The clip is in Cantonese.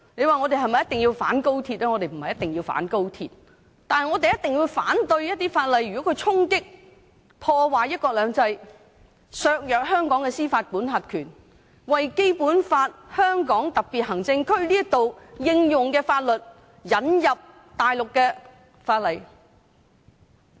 我們並非一定要反對高鐵，但我們一定要反對一些會衝擊及破壞"一國兩制"、削弱香港司法管轄權的法例，反對在香港特別行政區引入大陸法例。